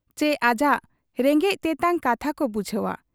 ᱪᱤ ᱟᱡᱟᱜ ᱨᱮᱸᱜᱮᱡ ᱛᱮᱛᱟᱝ ᱠᱟᱛᱷᱟᱠᱚ ᱵᱩᱡᱷᱟᱹᱣ ᱟ ?